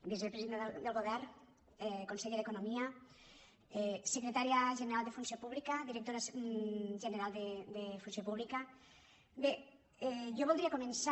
vicepresidenta del govern conseller d’economia secretària general de funció pública directora general de funció pública bé jo voldria començar